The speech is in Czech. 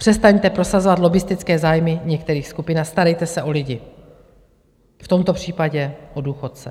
Přestaňte prosazovat lobbistické zájmy některých skupin a starejte se o lidi, v tomto případě o důchodce.